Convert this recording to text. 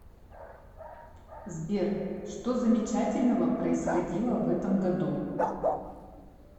сбер что замечательного происходило в этом году